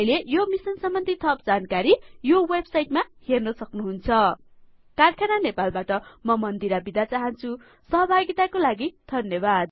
तपाइले यो मिसन सम्बन्धी थप जानकारी यो वेब साइट मा हेर्न सक्नुहुन्छ कारखाना नेपाल बाट म मन्दिरा थापा बिदा चाहन्छु सहभागिता को लागि धन्यवाद